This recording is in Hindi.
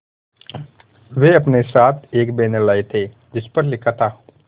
वे अपने साथ एक बैनर लाए थे जिस पर लिखा था